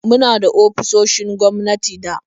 Muna da ofisoshin gwamnati da